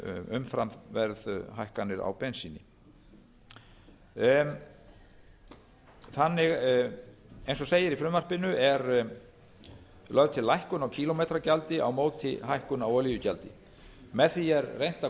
umfram verðhækkanir á bensíni eins og segir í frumvarpinu er lögð til lækkun á kílómetragjaldi á móti hækkun á olíugjaldi með því er reynt að